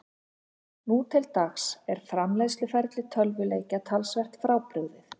Nú til dags er framleiðsluferli tölvuleikja töluvert frábrugðið.